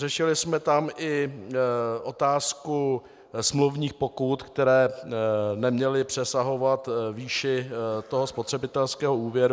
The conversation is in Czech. Řešili jsme tam i otázku smluvních pokut, které neměly přesahovat výši toho spotřebitelského úvěru.